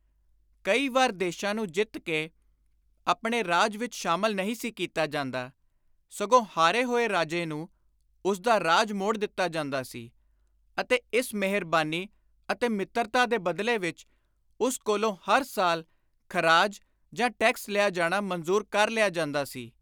ਕਈ ਵੇਰ ਦੇਸ਼ਾਂ ਨੂੰ ਜਿੱਤ ਕੇ ਆਪਣੇ ਰਾਜ ਵਿਚ ਸ਼ਾਮਲ ਨਹੀਂ ਸੀ ਕੀਤਾ ਜਾਂਦਾ, ਸਗੋਂ ਹਾਰੇ ਹੋਏ ਰਾਜੇ ਨੂੰ ਉਸਦਾ ਰਾਜ ਮੋੜ ਦਿੱਤਾ ਜਾਂਦਾ ਸੀ ਅਤੇ ਇਸ ਮਿਹਰਬਾਨੀ ਅਤੇ ਮਿੱਤਰਤਾ ਦੇ ਬਦਲੇ ਵਿਚ ਉਸ ਕੋਲੋਂ ਹਰ ਸਾਲ ਖ਼ਰਾਜ ਜਾਂ ਟੈਕਸ ਲਿਆ ਜਾਣਾ ਮਨਜ਼ੁਰ ਕਰ ਲਿਆ ਜਾਂਦਾ ਸੀ।